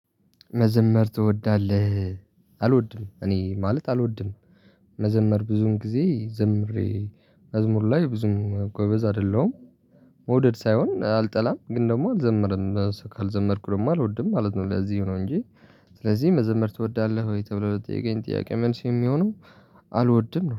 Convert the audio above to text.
መዘመር ትወዳለህ አልወድም እኔ ማለት አልወድም መዘመር ብዙን ጊዜ ዘምሬ መዝሙር ላይ ብዙም ጎበዝ አይደለሁም መውደድ ሳይሆን አልጠላም ግን ደግሞ አልዘመርም ካልዘመርኩ ደግሞ አልወድም ማለት ነው ለዚህ ነው እንጂ ስለዚህ መዘመር ትወዳለህ ወይ ተብሎ ለተጠየቀኝ ጥያቄ መልሴ የሚሆነው አልወድም ነው።